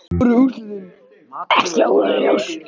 Voru úrslitin ekki augljós?